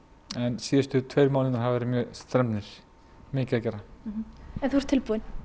síðustu tveir mánuðir verið mjög strembnir en þú ert tilbúin